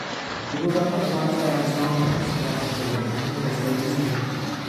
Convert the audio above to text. ìrora náà lágbára gan-an ó sì máa ń ṣẹlẹ̀ ní ẹ̀gbẹ́ orí mi